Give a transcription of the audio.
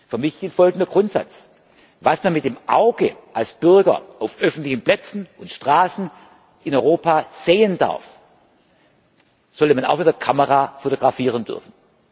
Für mich gilt folgender Grundsatz Was man mit dem Auge als Bürger auf öffentlichen Plätzen und Straßen in Europa sehen darf, sollte man auch mit der Kamera fotografieren dürfen.